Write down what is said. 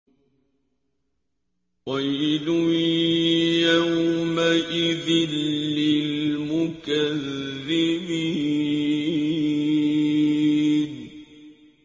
وَيْلٌ يَوْمَئِذٍ لِّلْمُكَذِّبِينَ